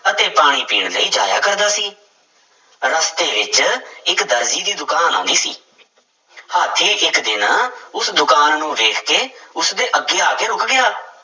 ਅਤੇ ਪਾਣੀ ਪੀਣ ਲਈ ਜਾਇਆ ਕਰਦਾ ਸੀ, ਰਸਤੇ ਵਿੱਚ ਇੱਕ ਦਰਜੀ ਦੀ ਦੁਕਾਨ ਆਉਂਦੀ ਸੀ ਹਾਥੀ ਇੱਕ ਦਿਨ ਉਸ ਦੁਕਾਨ ਨੂੰ ਵੇਖ ਕੇ ਉਸਦੇ ਅੱਗੇ ਆ ਕੇ ਰੁੱਕ ਗਿਆ।